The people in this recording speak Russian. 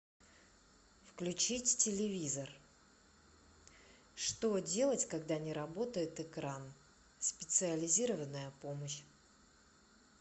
включить телевизор что делать когда не работает экран специализированная помощь